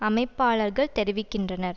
அமைப்பாளர்கள் தெரிவிக்கின்றனர்